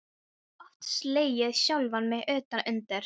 Oft slegið sjálfan mig utan undir.